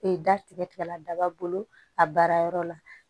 E da tigɛla daba bolo a baara yɔrɔ la